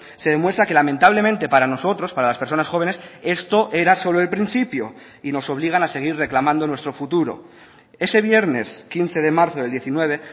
se demuestra que lamentablemente para nosotros para las personas jóvenes esto era solo el principio y nos obligan a seguir reclamando nuestro futuro ese viernes quince de marzo del diecinueve